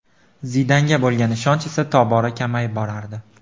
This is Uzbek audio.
Zidanga bo‘lgan ishonch esa tobora kamayib borardi.